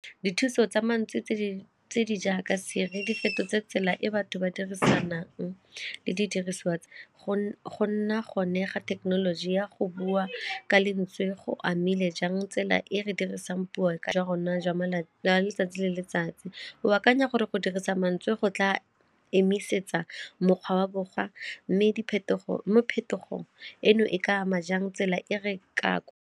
Dithuso tsa mantsi tse di jaaka Siri di fetotse tsela e batho ba dirisanang le didiriswa tsa go nna gone ga thekenoloji ya go bua ka lentswe go amile jang tsela e re dirisang puo ka jwa rona jwa letsatsi le letsatsi. O akanya gore go dirisa mantswe go tla emisetsa mokgwa wa borwa mme phetogo eno e ka ama jang tsela e re ka?